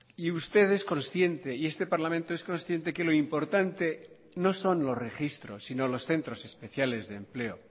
y usted es consciente y este parlamento es consciente que lo importante no son los registros sino los centros especiales de empleo